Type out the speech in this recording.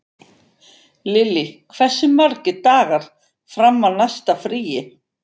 Lily, hversu margir dagar fram að næsta fríi?